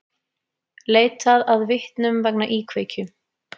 Leitað að vitnum vegna íkveikju